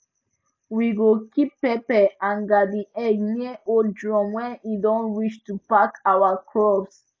we go keep pepper and garden egg near old drum when e don reach to pack our crops